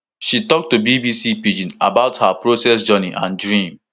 she tok to bbc pidgin about her process journey and dream